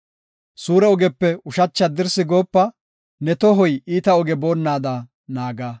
Suure ogepe ushachi haddirsi goopa; ne tohoy iita oge boonnada naaga.